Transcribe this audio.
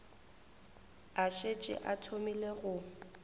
a šetše a thomile go